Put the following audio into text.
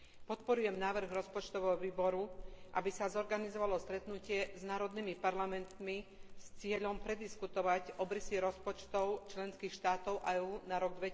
Podporujem návrh rozpočtového výboru, aby sa zorganizovalo stretnutie s národnými parlamentmi s cieľom prediskutovať obrysy rozpočtov členských štátov a EÚ na rok